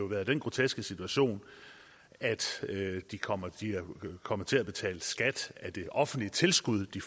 være den groteske situation at de kommer de kommer til at betale skat af det offentlige tilskud de